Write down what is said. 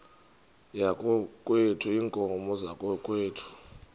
yakokwethu iinkomo zakokwethu